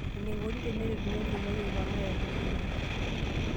Enaikoni tenereteni olchumati oipangae olengumoto.